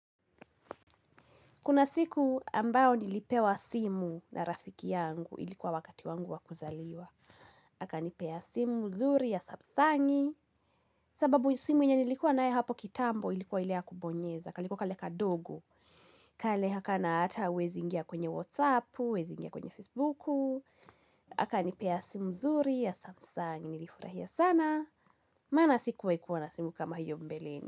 Kuna siku ambayo nilipewa simu na rafiki yangu ilikuwa wakati wangu wakuzaliwa. Aka nipea simu mzuri ya samsangi. Sababu simu yenye nilikuwa nae hapo kitambo ilikuwa ile ya kubonyeza. Kalikuwa kale kadogo. Kale hakana hata huwezi ingia kwenye Whatsappu, huwezi ingia kwenye Facebuku. Aka nipea simu mzuri ya samsangi. Nilifurahia sana. Maana sikuwai kuwa na simu kama hiyo mbeleni.